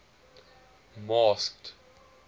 masked